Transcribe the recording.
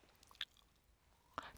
TV 2